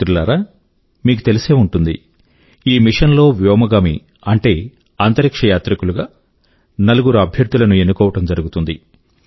మిత్రులారా మీకు తెలిసే ఉంటుంది ఈ మిశన్ లో వ్యోమగామి అంటే అంతరిక్ష యాత్రికులు గా నలుగురు అభ్యర్థుల ను ఎన్నుకోవడం జరుగుతుంది